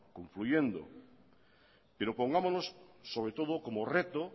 confluyendo pero pongámonos sobre todo como reto